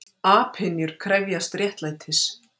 Apynjur krefjast réttlætis